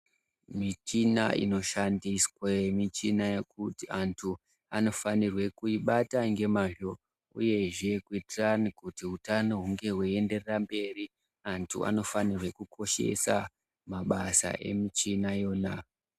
Michina inoshandiswe michina yekuti anthu anofanirwe kuibata ngemazvo. Uyezve ,kuitirane kuti utano hunge hweienderera mberi ,anthu anofanirwe kukoshesa mabasa emichina yona.